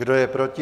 Kdo je proti?